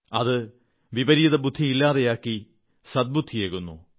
അത് വിപരീതബുദ്ധി ഇല്ലാതെയാക്കി സദ്ബുദ്ധിയേകുന്നു